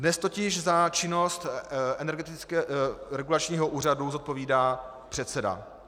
Dnes totiž za činnost Energetického regulačního úřadu zodpovídá předseda.